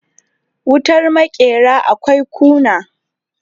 wutar makera akwai kuna